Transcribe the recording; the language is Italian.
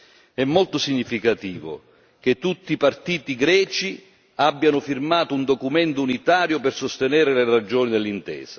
È molto significativo che tutti i partiti greci abbiano firmato un documento unitario per sostenere le ragioni dell'intesa.